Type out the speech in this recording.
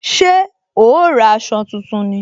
Ṣé o ra aṣọ tuntun ni